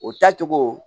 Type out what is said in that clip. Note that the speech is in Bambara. O taa cogo